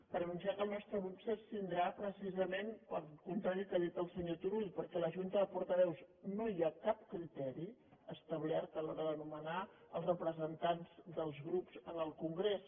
per anunciar que el nostre grup s’abstindrà precisament pel contrari del que ha dit el senyor turull perquè a la junta de portaveus no hi ha cap criteri establert a l’hora de nomenar els representants dels grups en el congrés